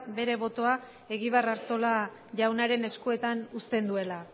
bere botoa egibar artola jaunaren eskuetan usten duela